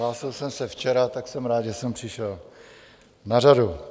Hlásil jsem se včera, tak jsem rád, že jsem přišel na řadu.